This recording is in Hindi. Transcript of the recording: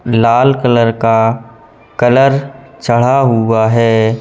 लाल कलर का कलर चढ़ा हुआ है।